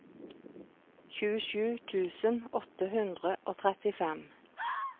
tjuesju tusen åtte hundre og trettifem